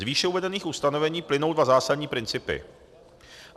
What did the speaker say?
Z výše uvedených ustanovení plynou dva zásadní principy.